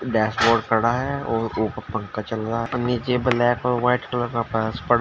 dashboard खड़ा है और ऊपर पंखा चल रहा है और नीचे ब्लैक और व्हाइट कलर का फर्श पड़ा --